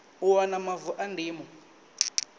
u wana mavu a ndimo